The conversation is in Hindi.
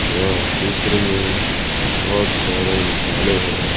यह चित्र में बहुत सारे मसाले हैं।